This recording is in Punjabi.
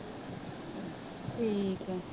ਠੀਕ ਆ